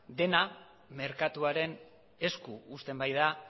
dena merkatuaren esku uzten baita